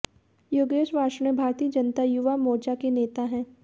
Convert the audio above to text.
योगेश वार्ष्णेय भारतीय जनता युवा मोर्चा के नेता हैं